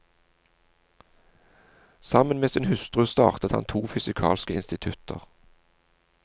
Sammen med sin hustru startet han to fysikalske institutter.